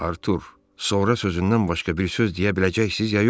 Artur, sonra sözündən başqa bir söz deyə biləcəksiz ya yox?